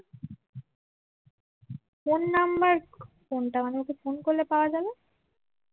phone number কোনটা মানে ওকে ফোন করলে পাওয়া যাবে